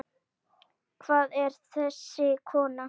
Hver er þessi kona?